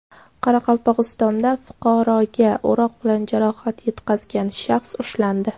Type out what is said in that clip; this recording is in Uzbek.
Qoraqalpog‘istonda fuqaroga o‘roq bilan jarohat yetkazgan shaxs ushlandi.